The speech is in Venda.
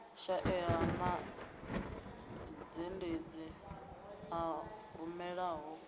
shaea ha mazhendedzi a rumelaho